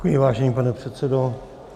Děkuji, vážený pane předsedo.